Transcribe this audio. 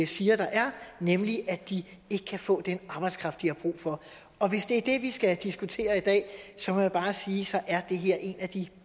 siger der er nemlig at de ikke kan få den arbejdskraft de har brug for og hvis det er det vi skal diskutere i dag må jeg bare sige at så er det her en af de